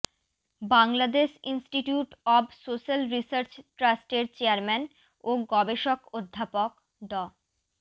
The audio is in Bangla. Bangladesh institute of social research ট্রাস্টের চেয়ারম্যান ও গবেষক অধ্যাপক ড